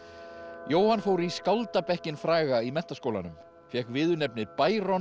Jóhann fór í fræga í Menntaskólanum fékk viðurnefnið